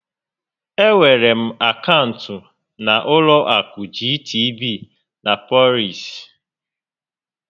Enwere m akaụntụ na ụlọ akụ GTB na Polaris